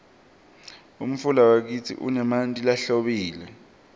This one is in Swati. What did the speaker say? umfula wakitsi unemanti lahlobile